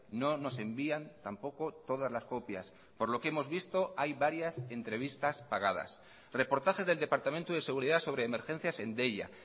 no nos envían tampoco todas las copias por lo que hemos visto hay varias entrevistas pagadas reportajes del departamento de seguridad sobre emergencias en deia